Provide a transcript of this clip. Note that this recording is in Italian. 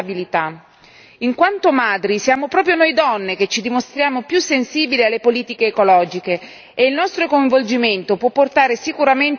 In quanto madri, siamo proprio noi donne che ci dimostriamo più sensibili alle politiche ecologiche e il nostro coinvolgimento può portare sicuramente a un valore aggiunto.